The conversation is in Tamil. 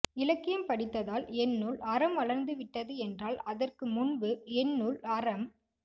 இலக்கியம் படித்ததால் என்னுள் அறம் வளர்ந்து விட்டது என்றால் அதற்கு முன்பு என்னுள் அறம்